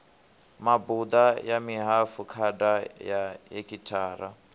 mabuḓa ya mihafukhada ya hekhithara